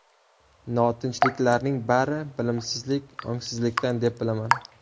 Notinchliklarning bari bilimsizlik, ongsizlikdan, deb bilaman.